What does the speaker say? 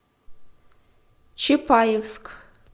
чапаевск